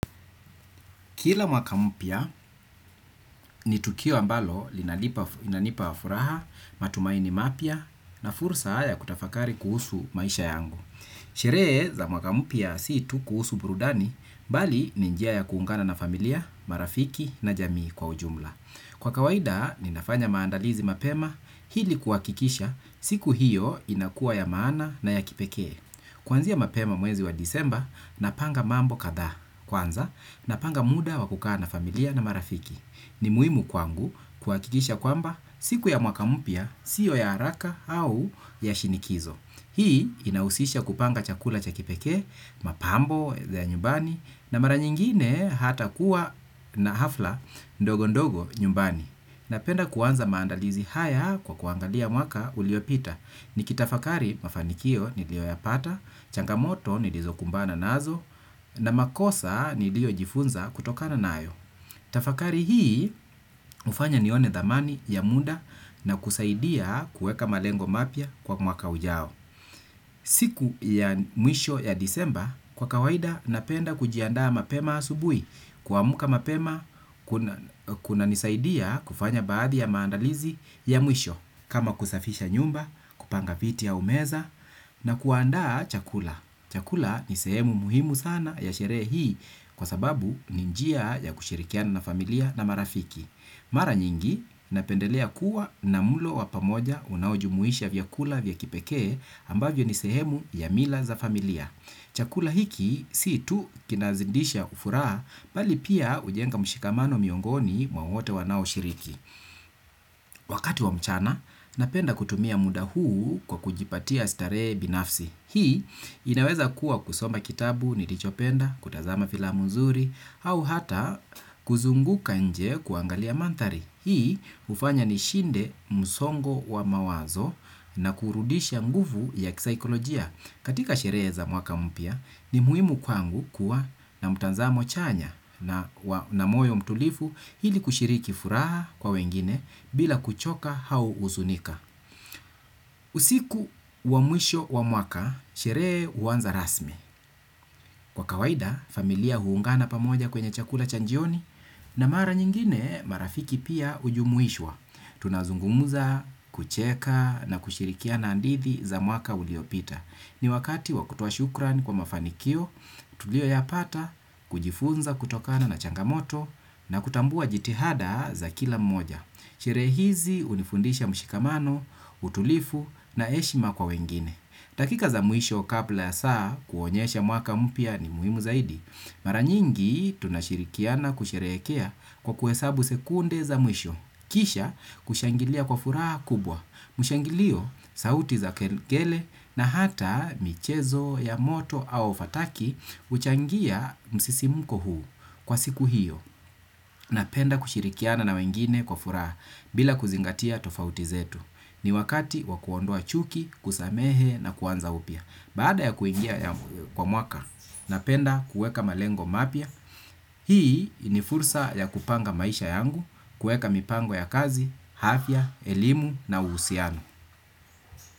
Kila mwaka mpya ni tukio ambalo inanipa furaha, matumaini mapya na fursa ya kutafakari kuhusu maisha yangu. Sherehe za mwaka mpya si tu kuhusu burudani, bali ni njia ya kuungana na familia, marafiki na jamii kwa ujumla. Kwa kawaida, ninafanya maandalizi mapema ili kuhakikisha siku hiyo inakuwa ya maana na ya kipekee. Kuanzia mapema mwezi wa desemba, napanga mambo kadha kwanza, napanga muda wa kukaa na familia na marafiki. Ni muhimu kwangu kuhakikisha kwamba siku ya mwaka mpya siyo ya haraka au ya shinikizo. Hii inahusisha kupanga chakula cha kipekee, mapambo ya nyumbani, na mara nyingine hata kuwa na hafla ndogo ndogo nyumbani. Napenda kuanza maandalizi haya kwa kuangalia mwaka uliopita. Nikitafakari mafanikio niliyoyapata, changamoto nilizokumbana nazo, na makosa niliyojifunza kutokana nayo. Tafakari hii hufanya nione thamani ya muda na kusaidia kuweka malengo mapya kwa mwaka ujao. Siku ya mwisho ya desemba, kwa kawaida napenda kujiandaa mapema asubuhi, kuamka mapema kunanisaidia kufanya baadhi ya maandalizi ya mwisho, kama kusafisha nyumba, kupanga viti au meza na kuandaa chakula. Chakula ni sehemu muhimu sana ya sherehe hii kwa sababu ni njia ya kushirikiana na familia na marafiki. Mara nyingi napendelea kuwa na mlo wa pamoja unaojumuisha vyakula vya kipekee ambavyo ni sehemu ya mila za familia. Chakula hiki si tu kinazidisha furaha bali pia hujenga mshikamano miongoni mwa wote wanaoshiriki. Wakati wa mchana napenda kutumia muda huu kwa kujipatia starehe binafsi. Hii inaweza kuwa kusoma kitabu nilichopenda, kutazama filamu nzuri, au hata kuzunguka nje kuangalia mandhari. Hii hufanya nishinde msongo wa mawazo na kurudisha nguvu ya kisaikolojia. Katika sherehe za mwaka mpya ni muhimu kwangu kuwa na mtazamo chanya na moyo mtulivu ili kushiriki furaha kwa wengine bila kuchoka au huzunika. Usiku wa mwisho wa mwaka, sherehe huanza rasmi. Kwa kawaida, familia huungana pamoja kwenye chakula cha jioni na mara nyingine marafiki pia hujumuishwa. Tunazungumza, kucheka na kushirikiana hadithi za mwaka uliopita. Ni wakati wa kutoa shukrani kwa mafanikio tuliyoyapata, kujifunza kutokana na changamoto na kutambua jitihada za kila mmoja. Sherehe hizi hunifundisha mshikamano, utulivu na heshima kwa wengine dakika za mwisho kabla ya saa kuonyesha mwaka mpya ni muhimu zaidi. Mara nyingi tunashirikiana kusherehekea kwa kuhesabu sekunde za mwisho kisha kushangilia kwa furaha kubwa mshangilio sauti za kengele na hata michezo ya moto au fataki huchangia msisimko huu kwa siku hiyo. Napenda kushirikiana na wengine kwa furaha bila kuzingatia tofauti zetu. Ni wakati wa kuondoa chuki, kusamehe na kuanza upya. Baada ya kuingia kwa mwaka, napenda kuweka malengo mapya. Hii ni fursa ya kupanga maisha yangu, kuweka mipango ya kazi, afya, elimu na uhusiano.